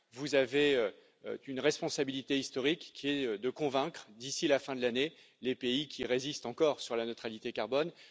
Vous avez une responsabilité historique qui est de convaincre, d'ici la fin de l'année, les pays qui résistent encore sur la neutralité carbone.